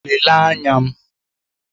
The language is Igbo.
Lelee anya m!